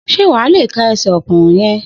Sé wà á le ka ẹsẹ̀ ọ̀kùnrùn yẹn.